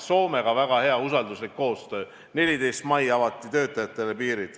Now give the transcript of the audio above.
Soomega oli väga hea usalduslik koostöö, 14. mail avati töötajatele piirid.